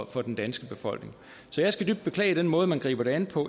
for den danske befolkning så jeg skal dybt beklage den måde man griber det an på